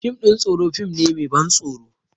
Fim ɗin tsoro fim ne mai ban tsoro